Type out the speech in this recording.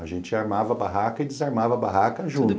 A gente armava a barraca e desarmava a barraca juntos.